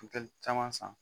Buteli caman san